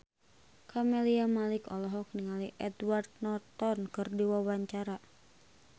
Camelia Malik olohok ningali Edward Norton keur diwawancara